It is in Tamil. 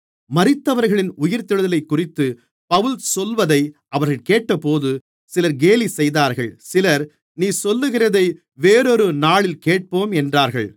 மரித்தவர்களின் உயிர்த்தெழுதலைக்குறித்து பவுல் சொல்வதை அவர்கள் கேட்டபோது சிலர் கேலிசெய்தார்கள் சிலர் நீ சொல்லுகிறதை வேறொரு நாளில் கேட்போம் என்றார்கள்